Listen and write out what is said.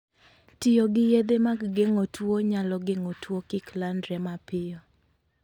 Tiyo gi yedhe mag geng'o tuwo nyalo geng'o tuwo kik landre mapiyo.